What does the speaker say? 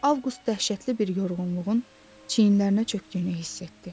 Avqust dəhşətli bir yorğunluğun çiyinlərinə çökdüyünü hiss etdi.